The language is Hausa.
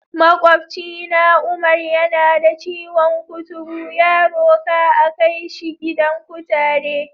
Maƙwabcina Umar, yana da ciwon kuturu, ya roka a kai shi gidan kutare.